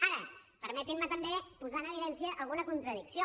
ara permetin me també posar en evidència alguna contradicció